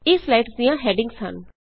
ਇਹ ਸਲਾਈਡਜ਼ ਦਿਆਂ ਹੈਡਿੰਗਜ਼ ਹਨ